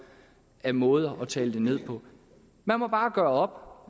af måder at tale det ned på man må bare gøre op om